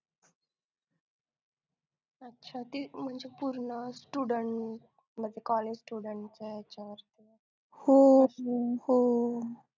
अच्छा ती म्हणजे पूर्ण student म्हणजे college student